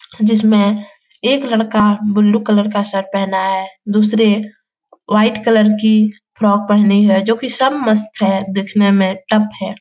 जिसमें एक लड़का बुल्लू कलर का शर्ट पहना है । दुसरे वाइट कलर की फ्रॉक पेहनी है जो की सब मस्त है देखने में टप है ।